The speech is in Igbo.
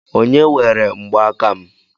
Onye were mgbaaka m?